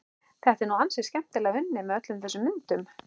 Þetta er nú ansi skemmtilega unnið, með öllum þessum myndum.